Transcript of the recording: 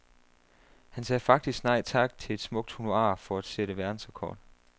Han sagde faktisk nej tak til et smukt honorar for at sætte verdensrekord.